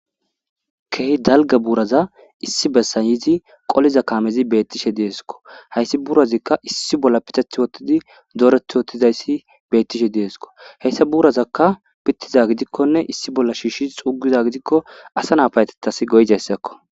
kehy dalga buuraza issi bessa yizi qoliza kaamezi beettishe deesko hayssi buurazikka issi bolla piteth wottidi doorethi wottizayssi beettishe deesko heyssa buurazakka pittiza gidikkonne issi bolla shiishshi xugiza gidikko asa na payetetasi goyzayssakko